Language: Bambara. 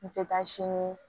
N tɛ taa si n ye